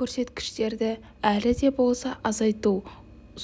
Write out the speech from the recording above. көрсеткішті әлі де болса азайту